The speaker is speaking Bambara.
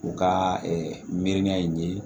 U ka miiriya in ye